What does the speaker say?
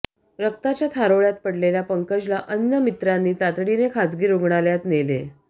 रक्ताच्या थारोळ्यात पडलेल्या पंकजला अन्य मित्रांनी तातडीने खाजगी रुग्णालयात नेले